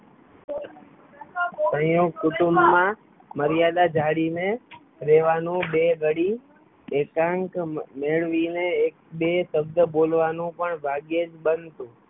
સંયુક્ત કુટુંબમાં મર્યાદા જાળવી ને રેવાનું બે ઘડી એકાંત મેળવી ને એક બે શબ્દ બોલવાનું પણ ભાગ્યે જ બનતું